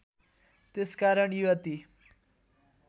त्यसकारण युवती